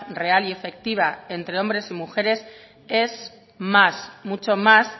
real y efectiva entre hombres y mujeres es más mucho más